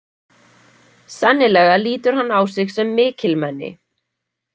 Sennilega lítur hann á sig sem mikilmenni.